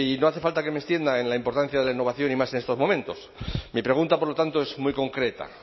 no hace falta que me extienda en la importancia de la innovación y más en estos momentos mi pregunta por lo tanto es muy concreta